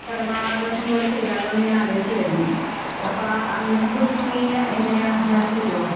പിറന്നാളാഘോഷം പോലെ ചെയ്താലോന്നിങ്ങനെ ആലോചിക്കുകയായിരുന്നു. അപ്പോ അന്നത്തെ ദിവസം നീയ്യ് എങ്ങനെയാ വരാൻ പറ്റുവോ?